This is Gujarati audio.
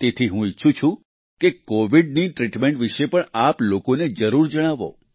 તેથી હું ઈચ્છું છું કે કોવિડની ટ્રિટમેન્ટ વિશે પણ આપ લોકોને જરૂર જણાવો